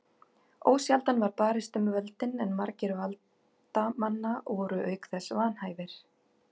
Ósjaldan var barist um völdin en margir valdamanna voru auk þess vanhæfir.